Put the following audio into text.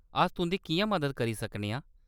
अस तुंʼदी किʼयां मदद करी सकने आं ?